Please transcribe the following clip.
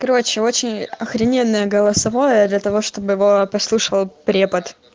короче очень охрененная голосовое для того чтобы его послушала препод